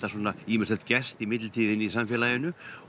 svona ýmislegt gerst í millitíðinni í samfélaginu